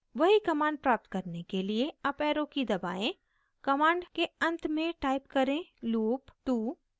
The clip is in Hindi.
वही command प्राप्त करने के लिए अप arrow की दबाएं command के अंत में type करें loop 2